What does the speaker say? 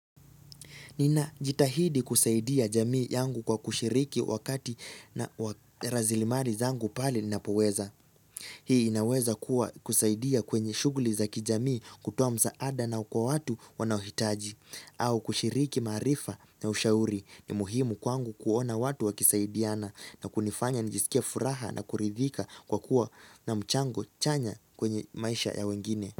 Nina jitahidi kusaidia jamii yangu kwa kushiriki wakati na razilimari zangu pale ninapoweza. Hii inaweza kuwa kusaidia kwenye shughuli za kijamii kutoa msaada na kwa watu wanaohitaji. Au kushiriki maarifa na ushauri ni muhimu kwangu kuona watu wakisaidiana na kunifanya nijisikie furaha na kuridhika kwa kuwa na mchango chanya kwenye maisha ya wengine.